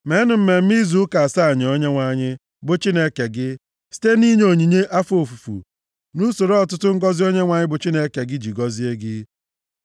Meenụ Mmemme Izu Ụka asaa nye Onyenwe anyị, bụ Chineke gị, site na inye onyinye afọ ofufu, nʼusoro ọtụtụ ngọzị Onyenwe anyị bụ Chineke gị ji gọzie gị.